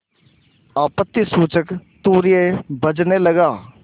आपत्तिसूचक तूर्य बजने लगा